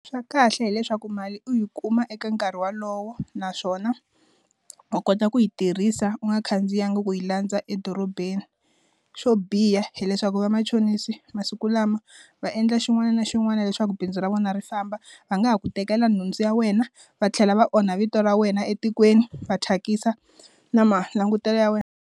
Swa kahle hileswaku mali u yi kuma eka nkarhi walowo naswona u kota ku yi tirhisa u nga khandziyanga ku yi landza edorobeni swo biha hileswaku vamachonisi masiku lama va endla xin'wana na xin'wana leswaku bindzu ra vona ri famba va nga ha ku tekela nhundzu ya wena va tlhela va onha vito ra wena etikweni va thyakisa na ma langutelo ya wena.